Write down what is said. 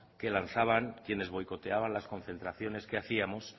que lanzaban quienes boicoteaban las concentraciones que hacíamos